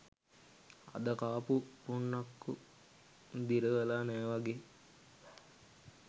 අද කාපු පුන්නක්කු දිරවල නෑ වගේ